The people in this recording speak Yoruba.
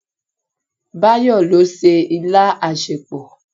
Báyọ̀ ló se ilá asèpọ̀.